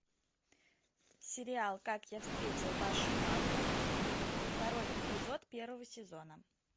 сериал как я встретил вашу маму второй эпизод первого сезона